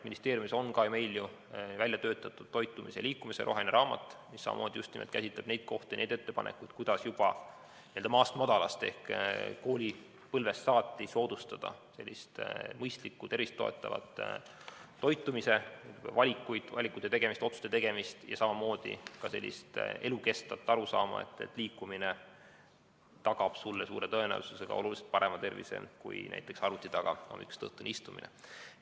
Ministeeriumis on ju välja töötatud toitumise ja liikumise roheline raamat, mis samamoodi just nimelt käsitleb neid kohti, neid ettepanekuid, kuidas juba maast madalast ehk koolipõlvest saati soodustada selliste mõistlike, tervist toetavate toitumisvalikute tegemist, samamoodi ka elukestvat arusaama, et liikumine tagab sulle suure tõenäosusega oluliselt parema tervise kui näiteks hommikust õhtuni arvuti taga istumine.